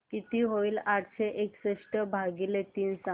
किती होईल आठशे एकसष्ट भागीले तीन सांगा